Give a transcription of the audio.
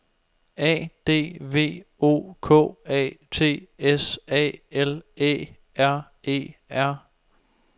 A D V O K A T S A L Æ R E R